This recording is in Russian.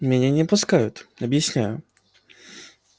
меня не пускают объясняю